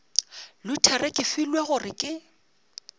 luthere ke filwe gore ke